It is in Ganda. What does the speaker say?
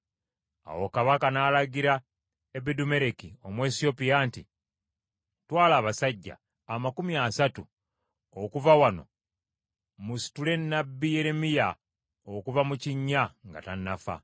Awo kabaka n’alagira Ebedumeleki Omuwesiyopya nti, “Twala abasajja amakumi asatu okuva wano musitule nnabbi Yeremiya okuva mu kinnya nga tannafa.”